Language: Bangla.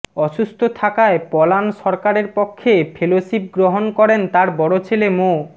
অসুস্থ থাকায় পলান সরকারের পক্ষে ফেলোশিপ গ্রহণ করেন তার বড় ছেলে মো